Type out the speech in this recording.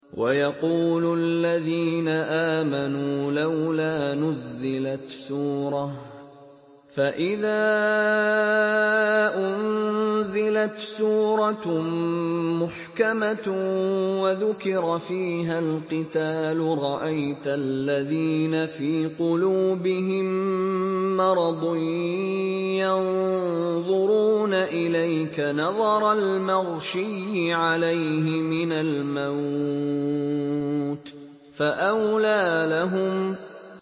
وَيَقُولُ الَّذِينَ آمَنُوا لَوْلَا نُزِّلَتْ سُورَةٌ ۖ فَإِذَا أُنزِلَتْ سُورَةٌ مُّحْكَمَةٌ وَذُكِرَ فِيهَا الْقِتَالُ ۙ رَأَيْتَ الَّذِينَ فِي قُلُوبِهِم مَّرَضٌ يَنظُرُونَ إِلَيْكَ نَظَرَ الْمَغْشِيِّ عَلَيْهِ مِنَ الْمَوْتِ ۖ فَأَوْلَىٰ لَهُمْ